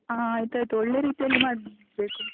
ಹ. ಆಯ್ತಾಯ್ತು. ಒಳ್ಳೇ ರೀತಿಯಲ್ಲಿ ಮಾಡ್ಬೇಕು.